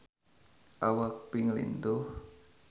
Awak Pink lintuh